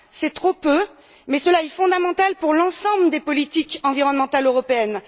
C'est certes trop peu, mais c'est fondamental pour l'ensemble des politiques environnementales européennes.